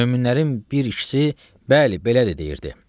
Möminlərin bir ikisi bəli, belədir deyirdi.